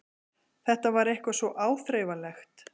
Þetta var eitthvað svo áþreifanlegt.